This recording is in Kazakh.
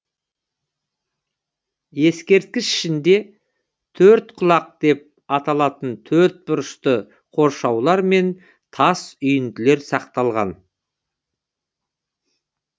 ескерткіш ішінде төрткұлақ деп аталатын төртбұрышты қоршаулар мен тас үйінділер сақталған